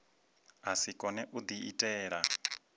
a si kone u diitela